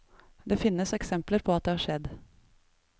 Det finnes eksempler på at det har skjedd.